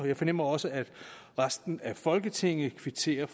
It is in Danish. jeg fornemmer også at resten af folketinget kvitterer